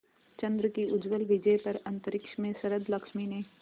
चंद्र की उज्ज्वल विजय पर अंतरिक्ष में शरदलक्ष्मी ने